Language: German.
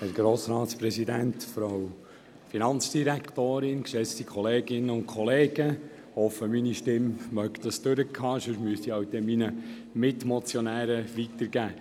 Ich hoffe, meine Stimme macht mit, ansonsten müsste ich an meine Mitmotionäre weitergeben.